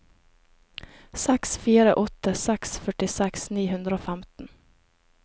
seks fire åtte seks førtiseks ni hundre og femten